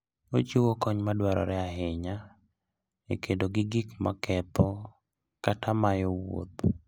Ochiwo kony madwarore ahinya e kedo gi gik maketho kata mayo wuoth.